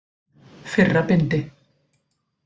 Fyrra bindi.